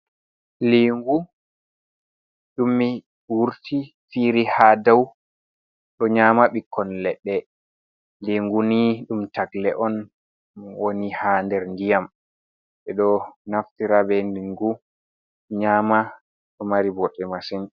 Lingu ɗum wurti fiiri ha daw, ɗo nyama ɓikkon leɗɗe lingu ni ɗum tagle on woni ha nder ndiyam, ɓe ɗo naftira be lingu nyama, ɗo mari bote masin.